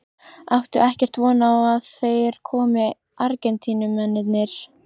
Áttu ekkert von á að þeir komi Argentínumennirnir?